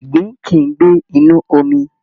Ìgbín kìí ń gbé inú omi